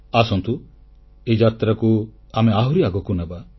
ଆସନ୍ତୁ ଏହି ଯାତ୍ରାକୁ ଆମେ ଆହୁରି ଆଗକୁ ନେବା